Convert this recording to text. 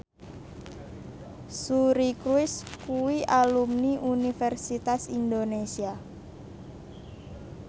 Suri Cruise kuwi alumni Universitas Indonesia